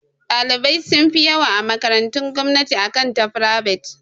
Ɗalibai sun fi yawa a makarantun gomnati akan ta frivet.